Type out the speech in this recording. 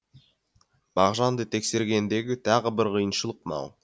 мағжанды тексергендегі тағы бір қиыншылық мынау